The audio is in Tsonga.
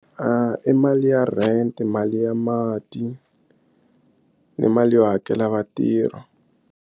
I mali ya rent mali ya mati ni mali yo hakela vatirhi.